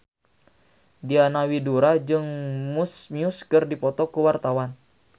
Diana Widoera jeung Muse keur dipoto ku wartawan